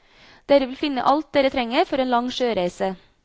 Dere vil finne alt dere trenger for en lang sjøreise.